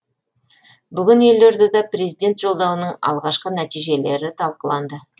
бүгін елордада президент жолдауының алғашқы нәтижелері талқыланды